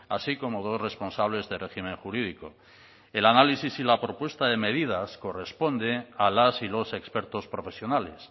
así como dos responsables de régimen jurídico el análisis y la propuesta de medidas corresponde a las y los expertos profesionales